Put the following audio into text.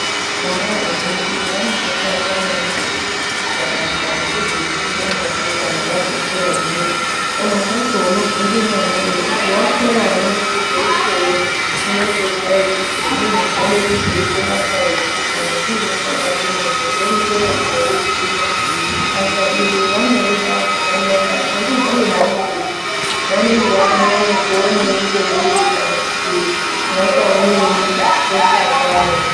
Vana vazhinji vanodakarira maningi kuita basa rekuzodzime mwoto kana vazokura zviya. Pamwe pacho unobvunze mwana wechiti wakura unode kuzoitei, unotozwa echiti inini ndinode kuzoite basa rekuti kana kuine kwabake mwoto ndorumbeyo koudzima. Basa iri vanorida zvakanyanya. Handiziyi hangu kuti vanenge vakanyanye kuonei periri kana kuti vakaonei pakukosha kwaro.